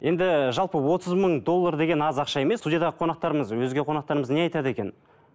енді жалпы отыз мың доллар деген аз ақша емес студиядағы қонақтарымыз өзге қонақтарымыз не айтады екен